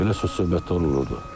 Belə söz-söhbətlər olurdu.